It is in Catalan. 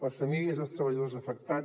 les famílies dels treballadors afectats